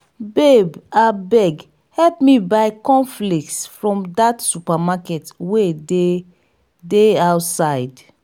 babe abeg help me buy corn flakes from dat supermarket wey dey dey outside